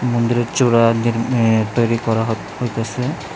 মন্দিরের চূড়া একদিগ এ্যা তৈরি করা হ হইতাসে।